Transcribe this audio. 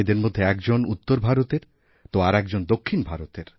এঁদের মধ্যে একজন উত্তরভারতের তো আর একজন দক্ষিণ ভারতের